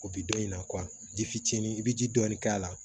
O bi dɔn in na ji fitinin i be ji dɔɔni k'a la